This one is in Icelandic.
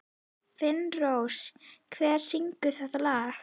Finnrós, hver syngur þetta lag?